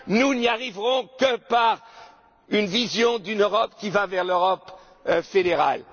bien! Nous n'y arriverons que par la vision d'une Europe qui va vers l'Europe